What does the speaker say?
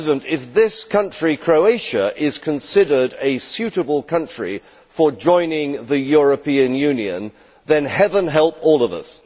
If this country, Croatia, is considered a suitable country for joining the European Union, then heaven help all of us.